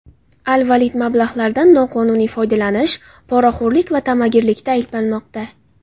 Al-Valid mablag‘lardan noqonuniy foydalanish, poraxo‘rlik va ta’magirlikda ayblanmoqda.